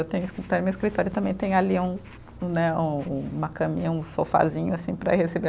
Eu tenho escritório, meu escritório também tem ali um né, um um, uma caminha, um sofazinho, assim, para receber.